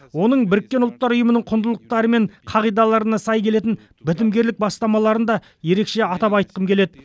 оның біріккен ұлттар ұйымының құндылықтары мен қағидаларына сай келетін бітімгерлік бастамаларын да ерекше атап айтқым келеді